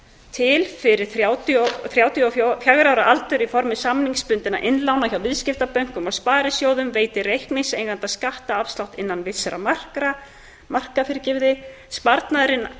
til fyrir þrjátíu og fjögurra ára aldur í formi samningsbundinna innlána hjá viðskiptabönkum og sparisjóðum veiti reikningseiganda skattafslátt innan vissra marka sparnaðurinn